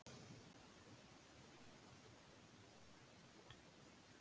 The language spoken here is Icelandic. Skylda samningsaðila sé að gera kjarasamninga